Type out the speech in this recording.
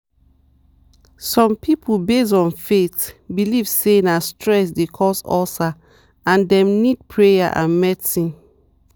some people based on faith believe say na stress dey cause ulcer and dem need prayer and medicine.